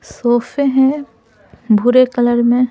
सोफे हैं भूरे कलर में।